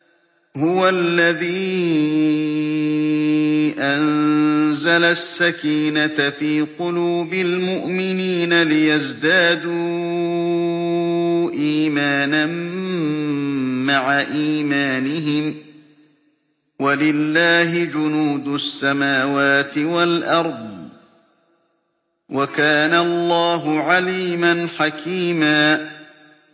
هُوَ الَّذِي أَنزَلَ السَّكِينَةَ فِي قُلُوبِ الْمُؤْمِنِينَ لِيَزْدَادُوا إِيمَانًا مَّعَ إِيمَانِهِمْ ۗ وَلِلَّهِ جُنُودُ السَّمَاوَاتِ وَالْأَرْضِ ۚ وَكَانَ اللَّهُ عَلِيمًا حَكِيمًا